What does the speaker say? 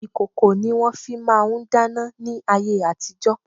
Ìkòkò ni wọ́n fi máà ń dáná ní ayé àtijo.